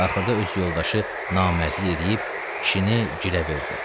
Axırda öz yoldaşı namərdlik eləyib kişini girə verdi.